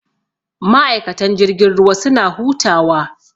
Ma'aikatan jirgin ruwa suna hutawa.